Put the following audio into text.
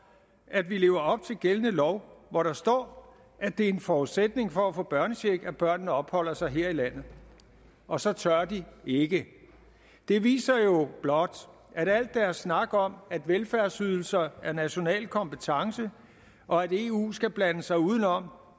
at vi lever op til gældende lov hvor der står at det er en forudsætning for at få børnecheck at børnene opholder sig her i landet og så tør de ikke det viser jo blot at al deres snak om at velfærdsydelser er national kompetence og at eu skal blande sig udenom